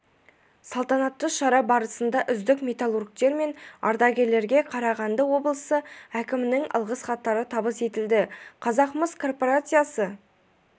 салтанатты шара барысында үздік металлургтер мен ардагерлерге қарағанды облысы әкімінің алғыс хаттары табыс етілді қазақмыс корпорациясы